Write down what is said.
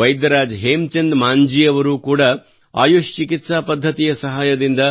ವೈದ್ಯರಾಜ್ ಹೇಮಚಂದ್ ಮಾಂಜೀ ಅವರೂ ಕೂಡಾ ಆಯುಶ್ ಚಿಕಿತ್ಸಾ ಪದ್ಧತಿಯ ಸಹಾಯದಿಂದ